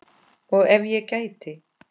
Og ef ég gæti?